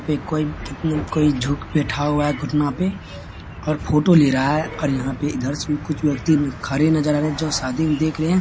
यहां पे कोई झुक बैठा है घुटना पे और फोटो ले रहा है और यहां पे से इधर कुछ व्यक्ति खड़े नजर आ रहे है जो शादी में देख रहे है।